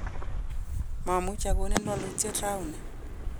mamuchi akonin wolutiet rauni